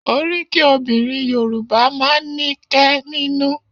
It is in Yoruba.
Oríkì obìnrin Yorùbá máa ń ní kẹ́ nínú